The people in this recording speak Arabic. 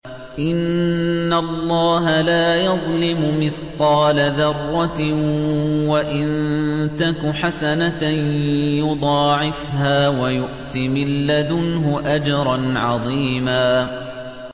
إِنَّ اللَّهَ لَا يَظْلِمُ مِثْقَالَ ذَرَّةٍ ۖ وَإِن تَكُ حَسَنَةً يُضَاعِفْهَا وَيُؤْتِ مِن لَّدُنْهُ أَجْرًا عَظِيمًا